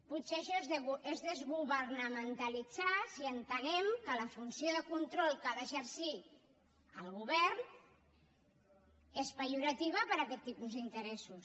potser això és desgovernamentalitzar si entenem que la funció de control que ha d’exercir el govern és pejorativa per a aquest tipus d’interessos